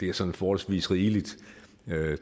er sådan forholdsvis rigeligt